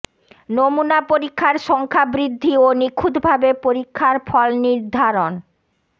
নমুনা পরীক্ষার সংখ্যা বৃদ্ধি ও নিখুঁতভাবে পরীক্ষার ফল নির্ধারণ